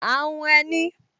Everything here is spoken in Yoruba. À ń hun ẹní